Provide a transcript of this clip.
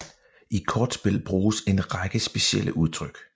I kortspil bruges en række specielle udtryk